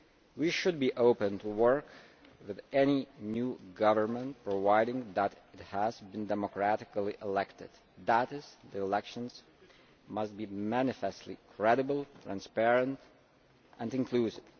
We should be open to working with any new government, providing that it has been democratically elected that is, the elections must be manifestly credible, transparent and inclusive.